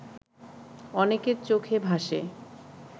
অনেকের চোখে ভাসে